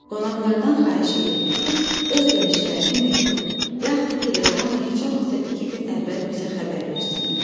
Qonaqlardan xahiş edilir ki, öz gəlişlərini məktub, yaxud teleqramla heç olmasa iki gün əvvəl bizə xəbər versinlər.